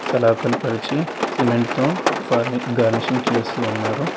అలా కనపరిచి సిమెంటు తో ఫర్నిక్ గర్ణిషింగ్ చేస్తూ ఉన్నారు.